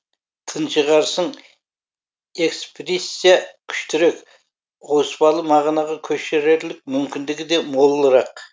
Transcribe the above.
тыншығарсың экспрессия күштірек ауыспалы мағынаға көшерерлік мүмкіндігі де молырақ